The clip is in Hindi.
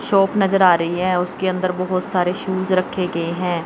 शॉप नज़र आ रही है उसके अंदर बहुत सारे शूज रखे गए हैं।